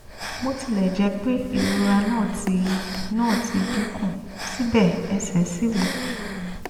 bó tilẹ̀ jẹ́ pé ìrora náà ti náà ti dín kù síbẹ̀ ẹsẹ̀ ṣì wú